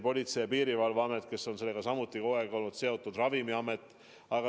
Politsei- ja Piirivalveamet on sellega ka kogu aeg seotud olnud, samuti Ravimiamet.